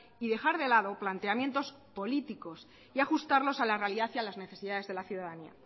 y dejar de lado planteamientos políticos y ajustarlos a la realidad y a las necesidades de la ciudadanía